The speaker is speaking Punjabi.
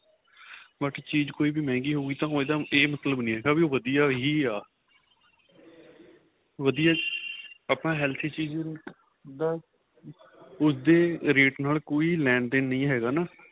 ਬਾਕੀ ਚੀਜ ਕੋਈ ਵਿ ਮੰਹਿਗੀ ਹੋਈ ਉਹਦਾ ਏਹ ਮਤਲਬ ਨਹੀਂ ਹੈਗਾ ਵੀ ਉਹ ਵਧੀਆ ਹੀ ਆਂ ਵਧੀਆ ਆਪਾਂ healthy ਚੀਜ ਦਾ ਉਸਦੇ rate ਨਾਲ ਕੋਈ ਲੈਣ ਦੇਣ ਨਹੀਂ ਹੈਗਾ ਨਾ